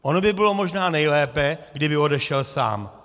Ono by bylo možná nejlépe, kdyby odešel sám.